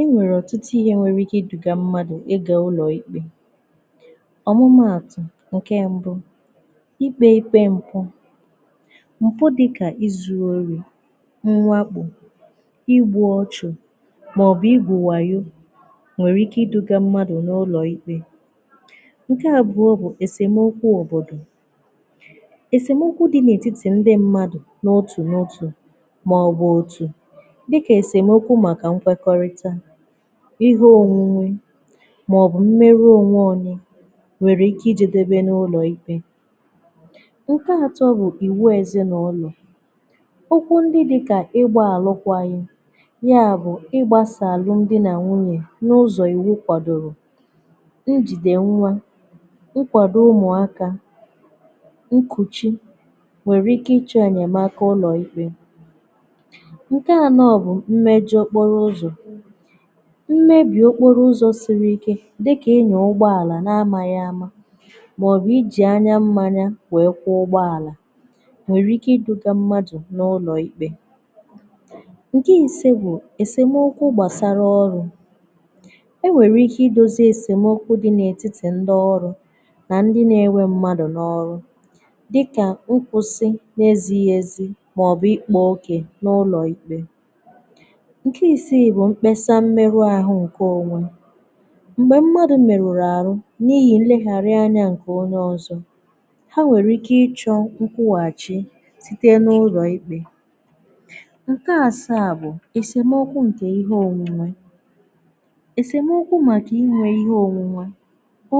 E nwere ọtụtụ ihe nwere ike iduga mmadụ̀ ịga ụlọikpe. Ọmụmaatụ̀, nke mbụ̀, ikpe ikpe mpụ̀. Mpụ̀ dịkà izuruori, mwakpò, ịgbụ̀ ọchụ̀, maọ̀bụ̀ ịgwụ̀ wayo nwere ike iduga mmadụ̀ n’ụlọikpe. Nke abụọ̀ bụ̀ esemokwu òbodò. Esemokwù dị n’etiti ndị mmadụ̀ n’otù n’otù maọ̀bụ̀ otù, dika esemokwu maka mkwekọrịta, ihe onwunwe maọ̀bụ̀ mmerụ onwe onye nwere ike ijedebe n’ụlọ̀ ikpe. Nke atọ bụ̀ iwu ezinaụlọ̀. okwụ ndị dịkà ịgbà alụkwaghị̀, ya bụ̀ ịgbasa alụm dị na nwunyè n’ụzọ̀ iwu kwadoro, njide nwa, nkwado ụmụakà, nkuchì nwere ike ịchọ enyemaka ụlọ̀ ikpe. Nke anọ̀ bụ̀ mmejọ̀ okporo ụzọ̀. Mmebì okporo ụzọ̀ siri ike dịkà inyè ụgbọàlà na-amaghị ama maọ̀bụ̀ iji anya mmanya wee kwụọ ụgbọàlà nwere ike iduga mmadụ̀ n’ụlọ̀ ikpe. Nke ise bụ̀ èsemokwu gbàsara ọrụ̇. E nwere ike idozi esemokwu dị n’etiti ndị ọrụ na ndị na-enwe mmadụ̀ n’ọrụ dịkà nkwụsị n’ezighi ezi maọ̀bụ̀ ikpa oke n’ụlọ̀ ikpe. Nke isii bụ̀ mkpesa mmerụ ahụ nke onwe. Mgbè mmadụ̀ merùrù arụ n’ihi nlegharịanị̀ nke onye ọzọ̀ ha nwèrè ike ịchọ̀ nkwùhàchì sitė n’ụlọ̀ ikpè. Nkè asaà bụ̀ èsèmọkwụ ǹkè ihe ònwunwè. èsèmọkụ maka inwè ihe ònwunwè,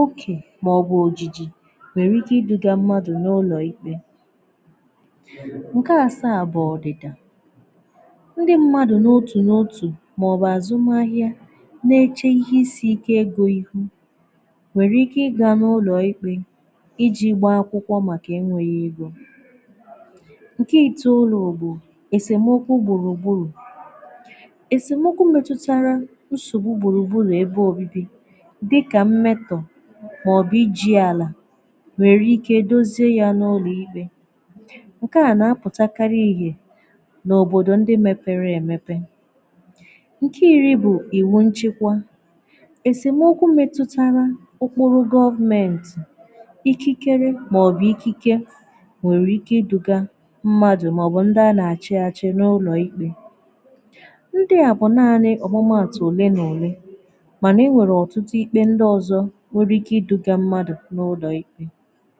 okè màọbụ̀ ojiji nwèrè ike idùga mmadụ̀ n’ụlọ̀ ikpè .Ǹkè asaà bụ̀ ọdị̀dà. Ndi mmadu n'otu n'otu maọbụ azụmahịa na-eche ihe isi ike ego ihu nwere ike iga n’ụlọ̀ ikpe iji gbaa akwụkwọ makà enweghì ego. Nke itoolu bụ̀ esemokwu gburugburu. esemokwu metutarà nsogbu gburugburu ebe obibi dịkà mmetọ̀, maọ̀bụ̀ iji alà nwere ike edozie yà n’ụlọ̀ ikpe. nke à na-apụtakarị̀ ihe n’òbodò ndị mepere emepe. Nke iri bụ̀ iwu nchịkwà. Esemokwụ metụtarà okporo government, ikikere maọ̀bụ̀ ikike nwere ike iduga mmadụ̀ maọ̀bụ̀ ndị a na-achịachị̀ n’ụlọ̀ ikpè. Ndị à bụ̀ naanị̀ ọ̀mụmaatụ̀ olè na olè manà e nwere ọ̀tụtụ ikpè ndị ọzọ̀ nwere ike iduga mmadụ̀ n’ụlọ̀ ikpè.